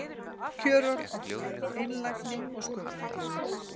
Kjörorð okkar: Einlægni og sköpunargleði.